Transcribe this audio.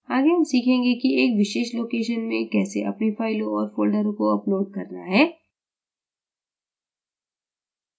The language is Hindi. आगे हम सीखेंगे कि एक विशेष location में कैसे अपनी फ़ाइलों और folder को upload करना है